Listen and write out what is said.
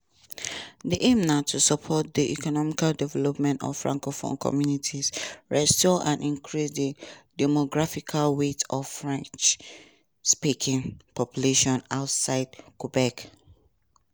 di aim na to support di economic development of francophone communities restore and increase di demographic weight of french-speaking populations outside quebec.